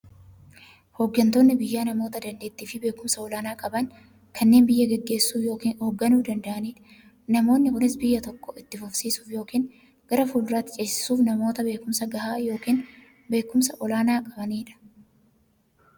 Hooggantoonni biyyaa namoota daanteettiifi beekumsa olaanaa qaban, kanneen biyya gaggeessuu yookiin hoogganuu danda'aniidha. Namoonni kunis, biyya tokko itti fufsiisuuf yookiin gara fuulduraatti ceesisuuf, namoota beekumsa gahaa yookiin beekumsa olaanaa qabaniidha.